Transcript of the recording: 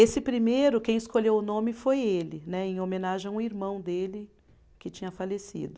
Esse primeiro, quem escolheu o nome foi ele né, em homenagem a um irmão dele que tinha falecido.